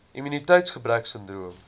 immuniteits gebrek sindroom